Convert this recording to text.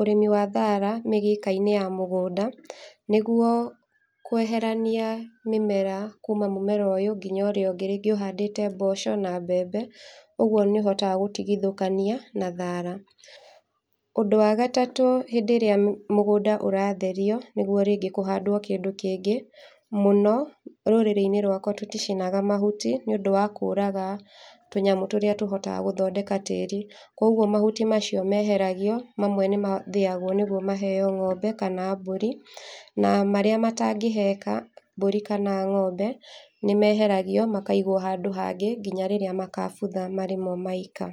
ũrĩmi wa thara mĩgĩka-inĩ ya mũgũnda, nĩguo kweherania mĩmera kuuma mũmera ũyũ, nginya ũrĩa ũngĩ, rĩngĩ ũhandĩte mboco, na mbembe, ũguo nĩ ũhotaga gũtigithokania na thara, ũndũ wa gatatũ hĩndĩrĩa mũgũnda ũratheriwo, nĩguo rĩngĩ kũhandwo kĩndũ kĩngĩ, mũno rũrĩrĩ-inĩ rwakwa tũticinaga mahuti, nĩũndũ wa kũraga tũnyamũ tũrĩa tũhotaga gũthondeka tĩri, koguo mahuti macio meheragio, mamwe nĩ mathĩyagwo nĩguo maheyo ngombe, kana mbũri, na marĩa matangĩheka mbũri, kana ng'ombe, nĩ meheragio makaigwo handũ hangĩ nginya rĩrĩa magabutha marĩmo maika.